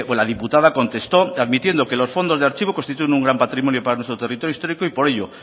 la diputada contestó admitiendo que los fondos de archivo constituyen un gran patrimonio para nuestro territorio histórico y por ello